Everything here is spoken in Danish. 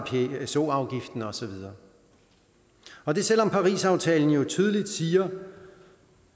pso afgiften og så videre og det selv om parisaftalen jo tydeligt siger